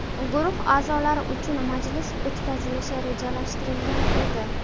Guruh a’zolari uchun majlis o‘tkazilishi rejalashtirilgan edi.